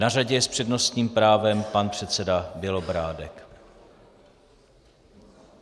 Na řadě je s přednostním právem pan předseda Bělobrádek.